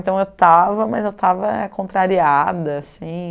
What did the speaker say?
Então eu estava, mas eu estava contrariada, assim.